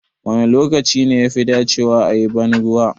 Wane lokaci ne yafi dacewa a yi banruwa?